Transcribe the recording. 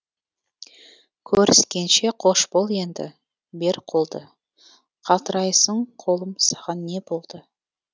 көріскенше қош бол енді бер қолды қалтырайсың қолым саған не болды